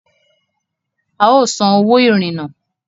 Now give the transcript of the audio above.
A o sàn òwò irinnà